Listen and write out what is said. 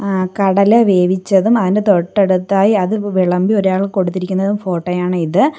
അഹ് കടല വേവിച്ചതും അതിനു തൊട്ടടുത്തായി അത് വ് വിളമ്പി ഒരാൾക്ക് കൊടുത്തിരിക്കുന്നതും ഫോട്ടോ ആണ് ഇത്.